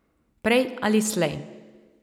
Prej ali slej.